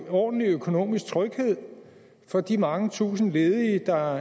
ordentlig økonomisk tryghed for de mange tusinde ledige der